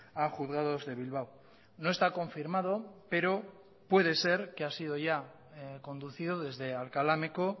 a juzgados de bilbao no está confirmado pero puede ser que ha sido ya conducido desde alcalá meco